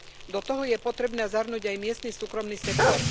Do toho je potrebné zahrnúť aj miestny súkromný sektor.